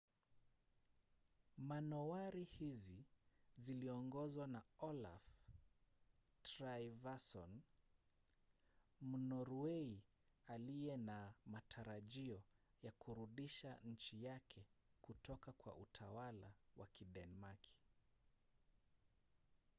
manowari hizi ziliongozwa na olaf trygvasson mnorwei aliye na matarajio ya kurudisha nchi yake kutoka kwa utawala wa kidenmaki